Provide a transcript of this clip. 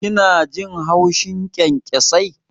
Kina jin haushin kyankyasai?